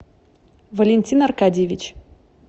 валентин аркадьевич